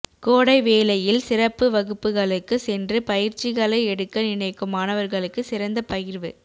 கோடை வேளையில் சிறப்பு வகுப்புகளுக்கு சென்று பயிற்சிகளை எடுக்க நினைக்கும் மாணவர்களுக்கு சிறந்த பகிர்வு